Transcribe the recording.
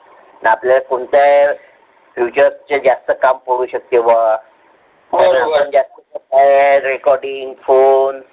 आपल्याला कोणत्या Features चे कम करू शकते बा काय आहे Recording phone